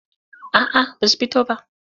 A'a ba su fito ba.